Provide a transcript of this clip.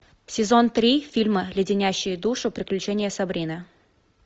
сезон три фильма леденящие душу приключения сабрины